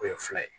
O ye fila ye